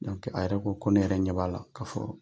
a yɛrɛ ko ko ne yɛrɛ ɲɛ b'a la k'a fɔ